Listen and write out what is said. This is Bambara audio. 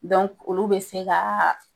olu be se ka